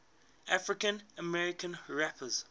african american rappers